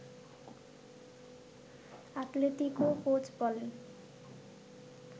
Atletico coach বলেন